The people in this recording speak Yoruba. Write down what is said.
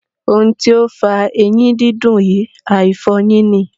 Ohun ti ó fa eyín dídùn yìí, àìfọ eyín ni..